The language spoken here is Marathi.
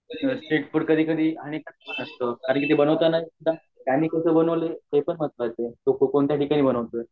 आणि पाणीपुरी म्हणजे ते कोणत्या ठींका नी बनवतात